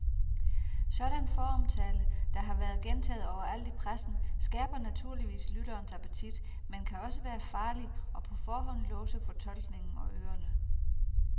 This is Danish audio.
Sådan foromtale, der har været gentaget overalt i pressen, skærper naturligvis lytterens appetit, men kan også være farlig og på forhånd låse fortolkningen og ørerne.